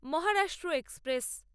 Maharashtra express